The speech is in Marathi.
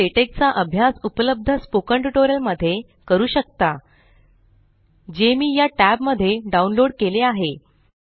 तुम्ही लेटेक चा अभ्यास उपलब्ध स्पोकन ट्यूटोरियल मध्ये करू शकता जे मी या टॅब मध्ये डाउनलोड केले आहे